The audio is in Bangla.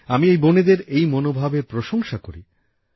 আমি এই বোনেদের এই মনোভাবএর প্রশংসা করি